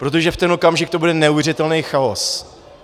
Protože v ten okamžik to bude neuvěřitelný chaos.